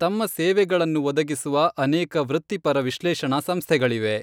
ತಮ್ಮ ಸೇವೆಗಳನ್ನು ಒದಗಿಸುವ ಅನೇಕ ವೃತ್ತಿಪರ ವಿಶ್ಲೇಷಣಾ ಸಂಸ್ಥೆಗಳಿವೆ.